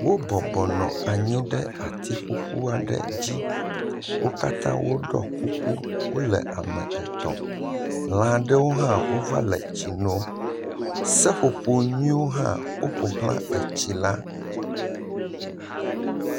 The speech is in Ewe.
Wobɔbɔ nɔ anyi ɖe ati ƒuƒu aɖe dzi. Wo katã woɖɔ kuku, wole ame etɔ̃. Lã aɖewo hã wova le tsi nom. Seƒoƒo nyuiwo hã woƒo xlã tsi la.